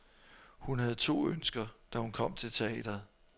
Hun havde to ønsker, da hun kom til teatret.